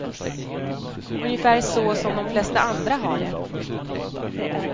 Ungefär så som de flesta andra har det.